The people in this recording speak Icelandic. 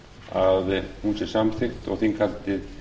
að hún sé samþykkt og þinghaldið